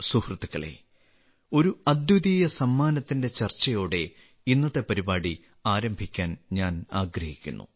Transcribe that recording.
സുഹൃത്തുക്കളേ ഒരു അദ്വിതീയ സമ്മാനത്തിന്റെ ചർച്ചയോടെ ഇന്നത്തെ പരിപാടി ആരംഭിക്കാൻ ഞാൻ ആഗ്രഹിക്കുന്നു